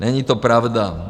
Není to pravda.